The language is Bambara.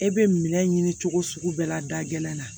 E bɛ minɛ ɲini cogo sugu bɛɛ la da gɛlɛn na